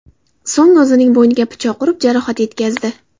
So‘ng o‘zining bo‘yniga pichoq urib, jarohat yetkazdi.